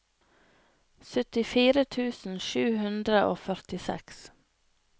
syttifire tusen sju hundre og førtiseks